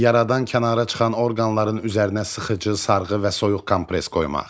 Yaradan kənara çıxan orqanların üzərinə sıxıcı sarğı və soyuq kompress qoymaq.